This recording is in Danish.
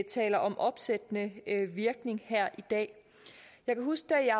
taler om opsættende virkning her i dag jeg kan huske jeg